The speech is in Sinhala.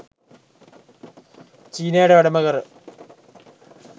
චීනයට වැඩම කර